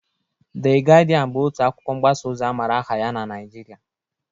De Gịdịan bụ otu akwụkwọ mgbasa ozi amara aha ya na na Nịajịrịa.